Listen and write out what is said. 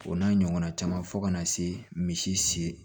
O n'a ɲɔgɔnna caman fo ka na se misi